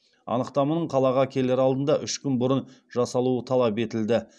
анықтаманың қалаға келер алдында үш күн бұрын жасалуы талап етілді